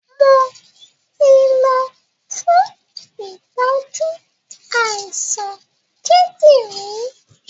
Mo ti lọ fún ìtọ́jú àìsàn kíndìnrín